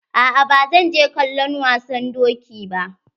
A'a ba zan je kallon wasan doki ba.